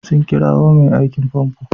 Sun kirowa mai aikin famfo?